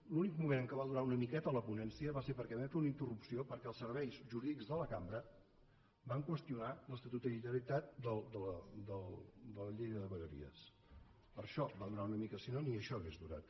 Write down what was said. l’únic moment en què va durar una miqueta la ponència va ser perquè vam fer una interrupció perquè els serveis jurídics de la cambra van qüestionar l’estatutarietat de la llei de vegueries per això va durar una mica si no ni això hauria durat